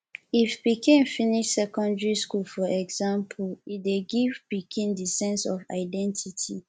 if pikin finish secondary for example e dey give pikin di sense of identity